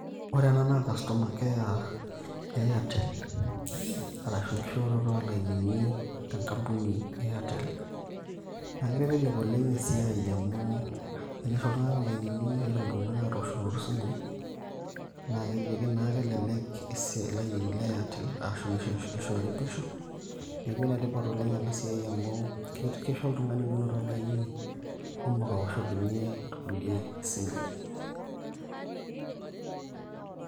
ore ena naa customer care artel ,arashu enki shooroto oo lainini tengampuni e artel naa kitelelek esiai oleng' amu renaisho iltunganak ilainini netum atosh isimui naakeji ake naa kelelek ilainini le artel, neeku enetipat oleng' enasiai amu kisho oltung'ani menoto olainini awuoshenyie ikulikae isimui.